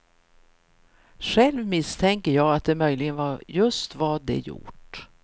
Själv misstänker jag att det möjligen var just vad de gjort.